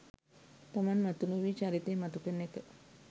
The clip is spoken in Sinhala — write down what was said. තමන් මතු නොවී චරිතය මතු කරන එක